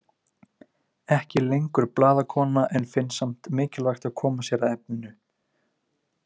Ekki lengur blaðakona en finnst samt mikilvægt að koma sér að efninu.